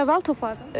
Neçə bal topladınız?